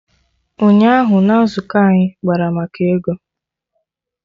Ụnyaahụ na nzukọ anyị kpara maka ego